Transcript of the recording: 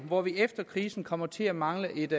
hvor vi efter krisen kommer til at mangle et